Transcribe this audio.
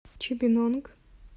чибинонг